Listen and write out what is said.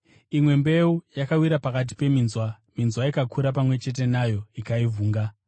Imwe mbeu yakawira pakati peminzwa, minzwa ikakura pamwe chete nayo ikaivhunga.